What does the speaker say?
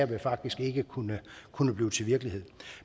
det faktisk ikke kunne kunne blive til virkelighed